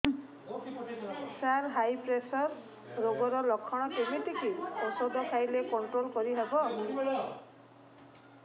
ସାର high pressure ରୋଗର ଲଖଣ କେମିତି କି ଓଷଧ ଖାଇଲେ କଂଟ୍ରୋଲ କରିହେବ